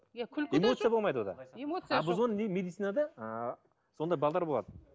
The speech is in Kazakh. иә эмоция болмайды а біз оны медицинада ы сондай бағдар болады